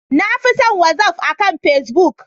Na fi son Whatsaf akan pacebook.